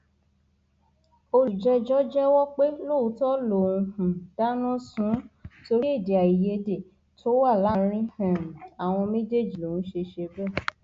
olùjẹjọ jẹwọ pé lóòótọ lòún um dáná sun ún torí èdèàìyedè tó wà láàrin um àwọn méjèèjì lòún ṣe ṣe bẹẹ